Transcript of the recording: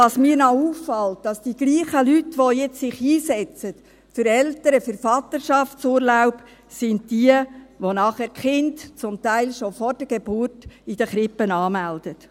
Was mir auch auffällt, ist, dass die gleichen Leute, die sich jetzt für Eltern- und Vaterschaftsurlaub einsetzen, nachher die Kinder zum Teil schon vor der Geburt in den Krippen anmelden.